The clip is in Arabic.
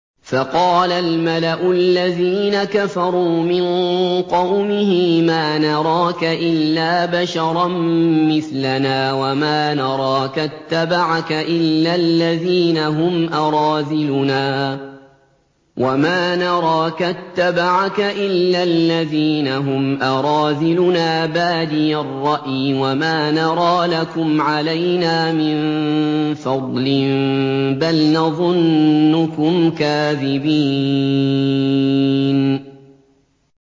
فَقَالَ الْمَلَأُ الَّذِينَ كَفَرُوا مِن قَوْمِهِ مَا نَرَاكَ إِلَّا بَشَرًا مِّثْلَنَا وَمَا نَرَاكَ اتَّبَعَكَ إِلَّا الَّذِينَ هُمْ أَرَاذِلُنَا بَادِيَ الرَّأْيِ وَمَا نَرَىٰ لَكُمْ عَلَيْنَا مِن فَضْلٍ بَلْ نَظُنُّكُمْ كَاذِبِينَ